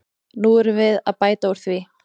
Nú erum við að bæta úr því.